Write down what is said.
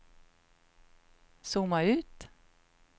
zooma ut